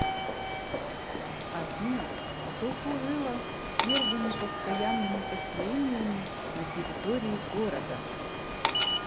афина что служило первыми постоянными поселениями на территории города